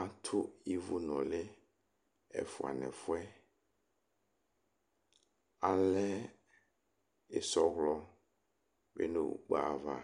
atu ivu nulɩ ɛfua nu ɛfu yɛ, alɛ isɔwlɔ bɩ nu ukpo yɛ ava